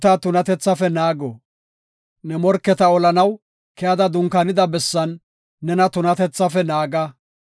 Ne morketa olanaw keyada dunkaanida bessan nena tunatethafe naaga.